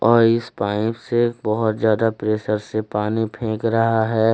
और इस पाइप से बहुत ज्यादा प्रेशर से पानी फेक रहा है।